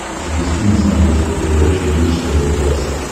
запусти на смотрешке передачу бридж тв классик